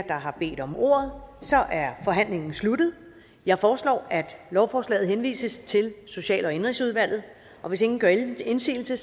der har bedt om ordet er forhandlingen sluttet jeg foreslår at lovforslaget henvises til social og indenrigsudvalget hvis ingen gør indsigelse